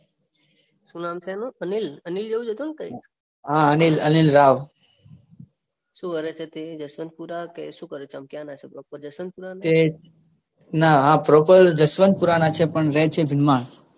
શું નામ છે એનું અનિલ. અનિલ જેવુ જ કઈ હતું ને. હા અનિલ રાવ. શું કરે છે તે જશવંતપુરા કે શું કરે છે તમે પ્રોપર ક્યાં ના છો? એજ જશવંતપુરા. ના હા પ્રોપર જશવંતપુરા પણ રે છે જૂનમાં.